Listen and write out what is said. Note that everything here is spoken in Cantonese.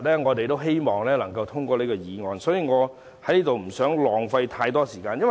我希望今天能夠通過這項議案，所以我不想在此浪費太多時間。